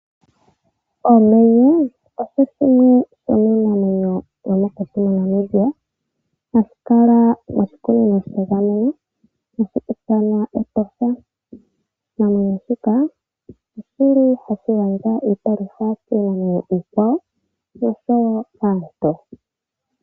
Omenye osho shimwe shomiinamwenyo yomokuti moNamibia hashi kala moshikuninoo shegameno hashi ithanwa Etosha. Oshinamwenyo shika oshi li hashi gandja iipalutha kinamwenyo iikwawo osho wo kaantu.